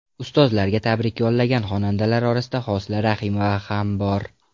Ustozlarga tabrik yo‘llagan xonandalar orasida Hosila Rahimova ham bor.